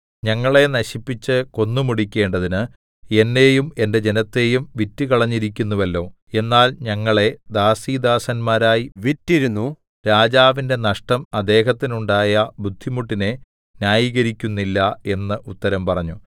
ഞങ്ങളെ നശിപ്പിച്ച് കൊന്നുമുടിക്കേണ്ടതിന് എന്നെയും എന്റെ ജനത്തെയും വിറ്റുകളഞ്ഞിരിക്കുന്നുവല്ലോ എന്നാൽ ഞങ്ങളെ ദാസീദാസന്മാരായി വിറ്റിരുന്നു രാജാവിന്റെ നഷ്ടം അദ്ദേഹത്തിനുണ്ടയ ബുദ്ധിമുട്ടിനെ ന്യായീകരിക്കുന്നില്ല എന്ന് ഉത്തരം പറഞ്ഞു